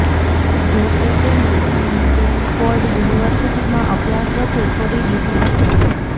જો કે તેમણે સ્ટેંડફોર્ડ યુનિવર્સિટીમાં અભ્યાસ વચ્ચે છોડી દીધો હતો